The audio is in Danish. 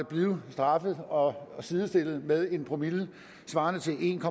blive straffet og sidestillet med en promille svarende til en